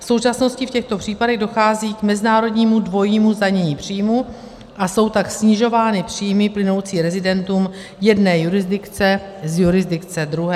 V současnosti v těchto případech dochází k mezinárodnímu dvojímu zdanění příjmů, a jsou tak snižovány příjmy plynoucí rezidentům jedné jurisdikce z jurisdikce druhé.